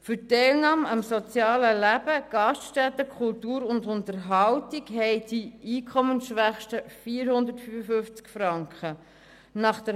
Für die Teilnahme am sozialen Leben – Gaststätten, Kultur und Unterhaltung – haben die Einkommensschwächsten 455 Franken.